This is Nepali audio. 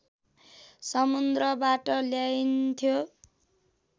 समुन्द्रबाट ल्याइन्थ्यो